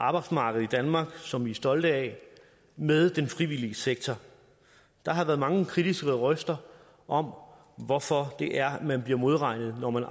arbejdsmarkedet i danmark som vi er stolte af med den frivillige sektor der har været mange kritiske røster om hvorfor man bliver modregnet når man